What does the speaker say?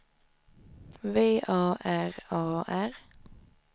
V A R A R